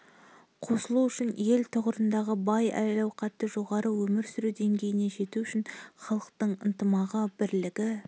қосылу үшін ел тұрғындары бай әл-ауқаты жоғары өмір сүру деңгейіне жету үшін халықтың ынтымағы бірлігі